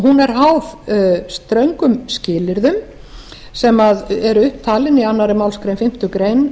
er háð ströngum skilyrðum sem eru upp talin í annarri málsgrein fimmtu grein